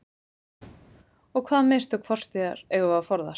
Og hvaða mistök fortíðar eigum við að forðast?